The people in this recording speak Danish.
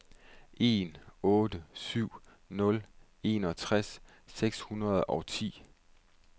en otte syv nul enogtres seks hundrede og ti